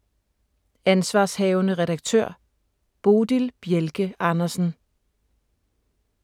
Ansv. redaktør: Bodil Bjelke Andersen